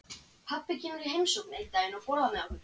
Pabbi kemur í heimsókn einn daginn og borðar með okkur.